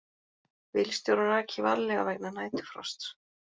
Bílstjórar aki varlega vegna næturfrosts